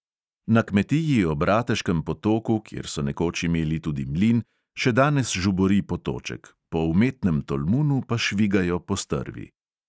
Na kmetiji ob rateškem potoku, kjer so nekoč imeli tudi mlin, še danes žubori potoček, po umetnem tolmunu pa švigajo postrvi.